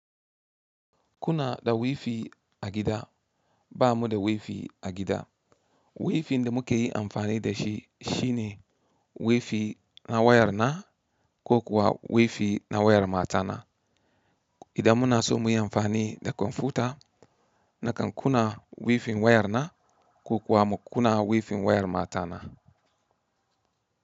Kuna da wifi a gida ba mu da wifi a gida. Wifi da muke yi amfani da shi shine wifi na wayar na ko kuwa wifi na wayar matana. Idan muna so muyi amfani da kwamfuta, na kan kuna wifi wayar na ko kuwa mu kuna wifi wayar matana.